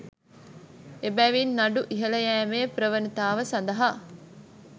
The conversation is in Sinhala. එබැවින් නඩු ඉහළ යෑමේ ප්‍රවණතාව සඳහා